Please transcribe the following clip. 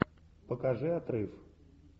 покажи отрыв